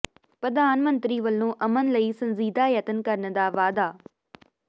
ਪ੍ਰਧਾਨ ਮੰਤਰੀ ਵੱਲੋਂ ਅਮਨ ਲਈ ਸੰਜੀਦਾ ਯਤਨ ਕਰਨ ਦਾ ਵਾਅਦਾ